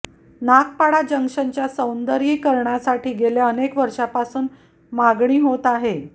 नागपाडा जंक्शनच्या सौंदर्यीकरणासाठी गेल्या अनेक वर्षापासून मागणी होत आहे